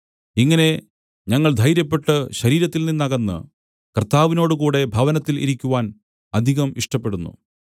ഇങ്ങനെ ഞങ്ങൾ ധൈര്യപ്പെട്ട് ശരീരത്തിൽനിന്നകന്ന് കർത്താവിനോടുകൂടെ ഭവനത്തിൽ ഇരിക്കുവാൻ അധികം ഇഷ്ടപ്പെടുന്നു